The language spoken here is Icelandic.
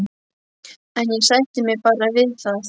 En ég sætti mig bara við það.